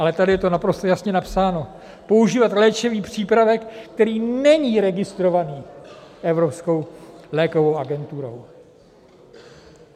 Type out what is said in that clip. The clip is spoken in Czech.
Ale tady je to naprosto jasně napsáno, používat léčivý přípravek, který není registrovaný Evropskou lékovou agenturou.